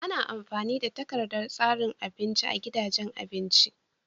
Ana amfani da takardar tsarin abinci a gidajen abinci.